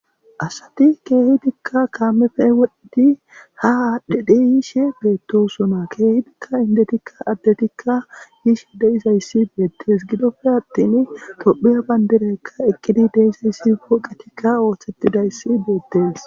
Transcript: Asathi keehidikka kaamepe wodhdhidi haa aadhdhide yishee beeththoosona; keehipekka addethikka inddethikka yishe de7izayssi beeththes; gidoppe aththini toophphiya banddiraykka eqqidi de7izyssi pooqethikka oseththidayssi beeththees.